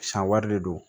San wari de don